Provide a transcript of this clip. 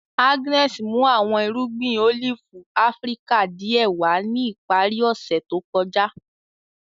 Agnes mu awọn irugbin olifi Afirika diẹ wa ni ipari ose to kọja.